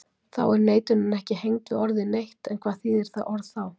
Þá er neitunin ekki hengd við orðið neitt, en hvað þýðir það orð þá?